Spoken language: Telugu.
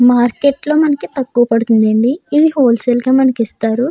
మార్కెట్లో అయితే మనకి తక్కువ పడుతుందండి మనకి హోల్ సేల్ లో తక్కువ గీస్తారు.